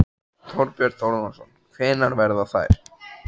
Þorbjörn Þórðarson: Hvenær verða þær?